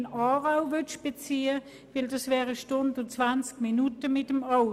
Mit dem Auto würde die Fahrt 1 Stunde und 20 Minuten dauern.